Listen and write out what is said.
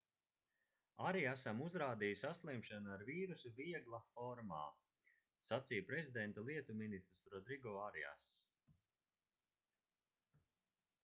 ariasam uzrādīja saslimšanu ar vīrusu viegla formā sacīja prezidenta lietu ministrs rodrigo ariass